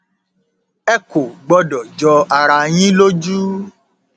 ẹ kò gbọdọ jọ ara yín lójú